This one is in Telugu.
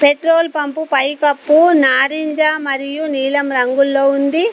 పెట్రోల్ పంపు పై కప్పు నారింజ మరియు నీలం రంగులో ఉంది.